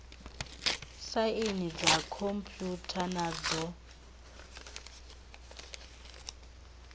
saini dza khomphutha na dzo